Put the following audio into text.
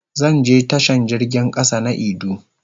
Zan je tashan jirgin kasa na idu.